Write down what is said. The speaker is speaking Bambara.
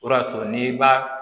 O de y'a to n'i b'a